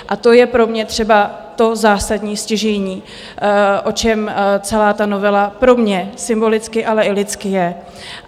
A to je pro mě třeba to zásadní, stěžejní, o čem celá ta novela pro mě symbolicky, ale i lidsky je.